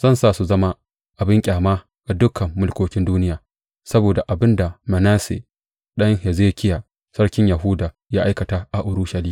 Zan sa su zama abin ƙyama ga dukan mulkokin duniya saboda abin da Manasse ɗan Hezekiya sarkin Yahuda ya aikata a Urushalima.